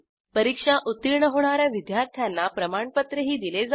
परीक्षा उत्तीर्ण होणा या विद्यार्थ्यांना प्रमाणपत्रही दिले जाते